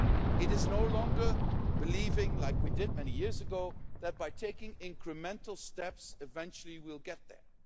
It is no longer believing, like we did many years ago, that by taking incremental steps, eventually we'll get there.